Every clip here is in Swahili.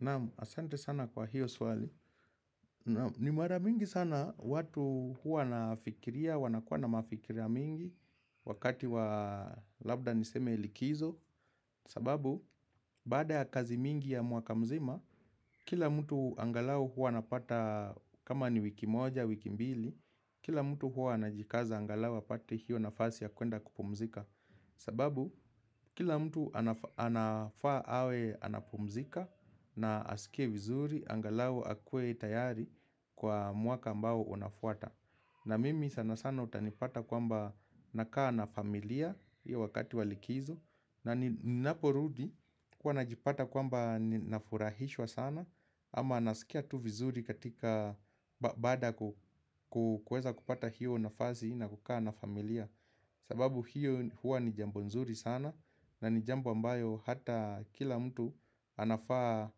Naam, asante sana kwa hiyo swali. Ni mara mingi sana watu huwa nafikiria, wanakuwa na mafikira mingi wakati wa labda niseme likizo. Sababu, baada ya kazi mingi ya mwaka mzima, kila mtu angalau hua anapata kama ni wiki moja, wiki mbili. Kila mtu hua anajikaza angalau apate hiyo nafasi ya kwenda kupumzika. Sababu kila mtu anafa anafaa awe anapumzika na asikie vizuri angalau akuwe tayari kwa mwaka ambao unafwata na mimi sana sana utanipata kwamba nakaa na familia hiyo wakati wa likizo na ninaporudi huwa najipata kwamba ninafurahishwa sana ama nasikia tu vizuri katika baada ya ku ku kueza kupata hiyo nafasi na kukaa na familia sababu hiyo huwa ni jambo nzuri sana na ni jambo ambayo hata kila mtu anafaa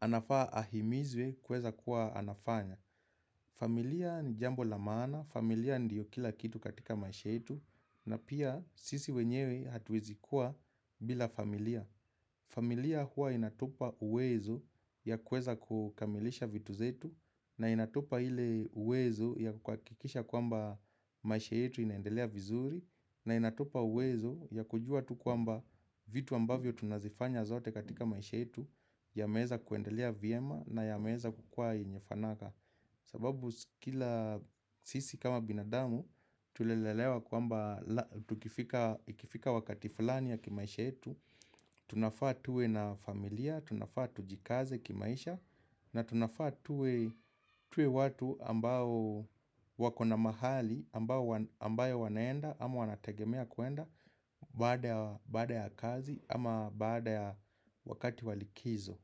anafaa ahimizwe kueza kuwa anafanya familia ni jambo la maana, familia ndiyo kila kitu katika maisha yetu na pia sisi wenyewe hatuwezi kuwa bila familia familia huwa inatupa uwezo ya kueza kukamilisha vitu zetu na inatupa ile uwezo ya kuhakikisha kwamba maisha yetu inaendelea vizuri na inatupa uwezo ya kujua tu kwamba vitu ambavyo tunazifanya zote katika maisha yetu yameweza kuendelea vyema na yameweza kukua yenye fanaka. Sababu kila sisi kama binadamu, tulilelewa kwamba tukifika ikifika wakati fulani ya kimaisha yetu Tunafaa tuwe na familia, tunafaa tujikaze kimaisha na tunafaa tuwe tuwe watu ambao wakona mahali, ambawo ambayo wanaenda, ama wanategemea kwenda Baada ya kazi ama baada ya wakati wa likizo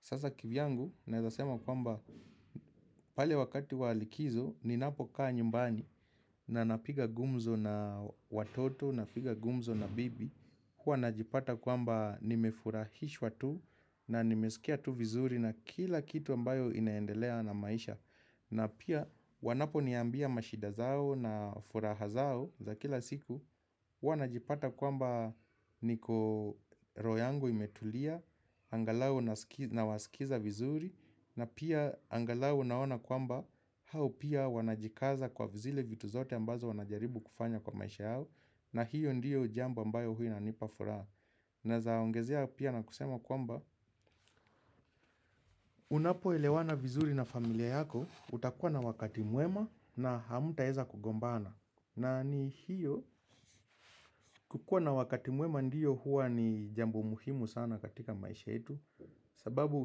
Sasa kivyangu, naeza sema kwamba pale wakati wa likizo, ninapokaa nyumbani na napiga gumzo na watoto, napiga gumzo na bibi. Huwa najipata kwamba nimefurahishwa tu na nimesikia tu vizuri na kila kitu ambayo inaendelea na maisha. Na pia wanaponiambia mashida zao na furaha zao za kila siku huwa najipata kwamba niko roho yango imetulia, angalau nasikia nawasikiza vizuri, na pia angalau naona kwamba hao pia wanajikaza kwa zile vitu zote ambazo wanajaribu kufanya kwa maisha yao na hiyo ndiyo jambo ambayo huwa inanipa furaha. Naeza ongezea pia na kusema kwamba, unapoelewana vizuri na familia yako, utakua na wakati mwema na hamtaeza kugombana. Na ni hiyo, kukua na wakati mwema ndiyo huwa ni jambo muhimu sana katika maisha yetu, sababu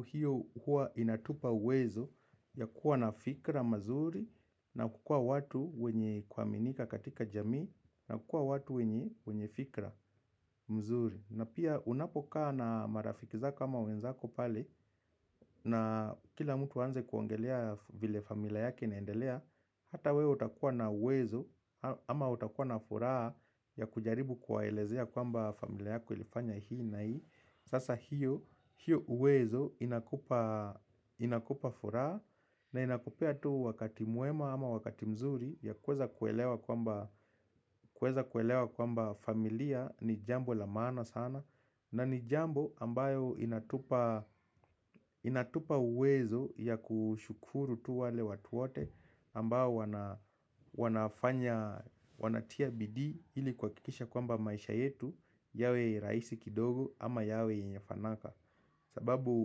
hiyo huwa inatupa uwezo ya kuwa na fikra mazuri na kukua watu wenye kuaminika katika jamii na kuwa watu wenye fikra mzuri. Na pia unapokaa na marafiki zako ama wenzako pale na kila mtu aanze kuaongelea vile familia yake inaendelea Hata wewe utakuwa na uwezo ama utakuwa na furaha ya kujaribu kuwaelezea kwamba familia yako ilifanya hii na hii Sasa hiyo, hiyo uwezo inakupa furaha na inakupea tu wakati mwema ama wakati mzuri ya kueza kuelewa kwamba familia ni jambo la maana sana na ni jambo ambayo inatupa inatupa uwezo ya kushukuru tu wale watu wote ambao wana wana wanatia bidii ili kuhakikisha kwamba maisha yetu yawe rahisi kidogo ama yawe yenye fanaka sababu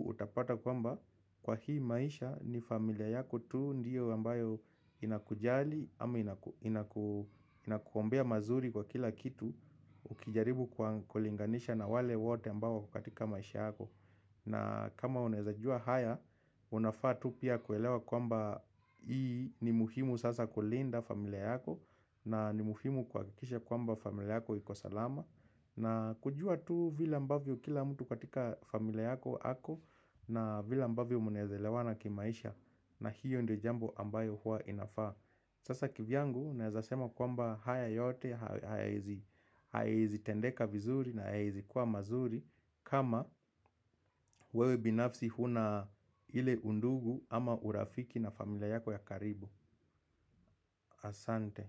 utapata kwamba kwa hii maisha ni familia yako tu Ndiyo ambayo inakujali ama inaku inakuombea mazuri kwa kila kitu Ukijaribu kwa kulinganisha na wale wote ambao wako katika maisha yako na kama unaeza jua haya, unafaa tu pia kuelewa kwamba Hii ni muhimu sasa kulinda familia yako na ni muhimu kuhakikisha kwamba familia yako iko salama na kujua tu vile ambavyo kila mtu katika familia yako ako na vile ambavyo mnaeza elewana kimaisha na hiyo ndo jambo ambayo hua inafaa Sasa kivyangu, naeza sema kwamba haya yote, hayaezi tendeka vizuri na hayaezi kuwa mazuri kama wewe binafsi huna ile undugu ama urafiki na familia yako ya karibu Asante.